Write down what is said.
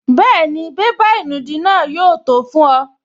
Bẹ́ẹ̀ni, bébà ìnùdí náà yóò tó fún ọ